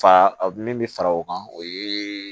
Fa min bɛ fara o kan o ye